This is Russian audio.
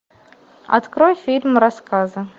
открой фильм рассказы